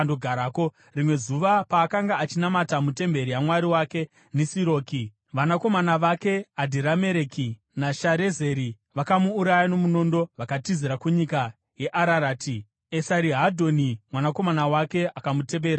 Rimwe zuva, paakanga achinamata mutemberi yamwari wake Nisiroki, vanakomana vake, Adhiramereki naSharezeri vakamuuraya nomunondo, vakatizira kunyika yeArarati. Esarihadhoni mwanakomana wake akamutevera paumambo.